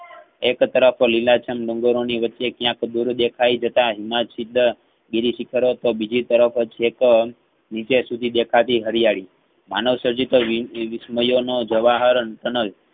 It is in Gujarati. એક તરફ લીલાછમ ડુંગરો ની વચ્ચે કયાંક દોરો દેખાય જતા હિમછીદ બીજીશિખરો અથવા બીજી પરોતો શિખરો નીચે શુધી દેખાતી હરિયાળી માનવ સંજીત વી~વી~વિસ્મયોનો જવાહર કનલ